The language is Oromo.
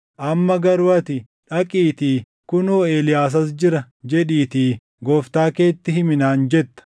Amma garuu ati, ‘Dhaqiitii, “Kunoo Eeliyaas as jira” jedhiitii gooftaa keetti himi’ naan jetta.